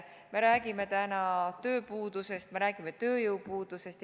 Me räägime tööpuudusest, me räägime tööjõupuudusest.